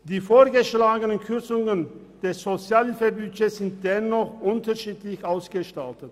Die vorgeschlagenen Kürzungen des Sozialhilfebudgets sind dennoch unterschiedlich ausgestaltet: